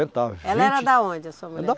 vinte. Ela era da onde, a sua mulher?